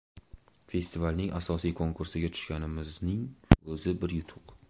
Festivalning asosiy konkursiga tushganimizning o‘zi bir yutuq.